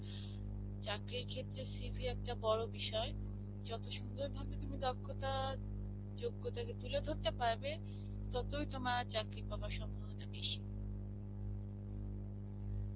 চাকরীর ক্ষেত্রে CV একটা বড় বিষয়. যত সুন্দর ভাবে তুমি দক্ষতা যোগ্যতাকে তুলে ধরতে পারবে ততই তোমার চাকরী পাবার সম্ভবনা বেশী.